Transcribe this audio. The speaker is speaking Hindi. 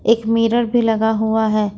एक मिरर भी लगा हुआ है।